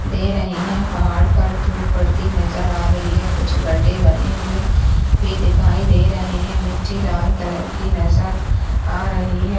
दे रहे हैं पहाड़ पर धुप पड़ती नज़र आ रही है कुछ गड़े बने हुए भी दिखाई दे रहे है मिटी लाल कलर की नज़र आ रही है।